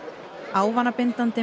ávanabindandi